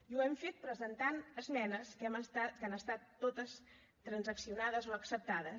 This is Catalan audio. i ho hem fet presentant esmenes que han estat totes transaccionades o acceptades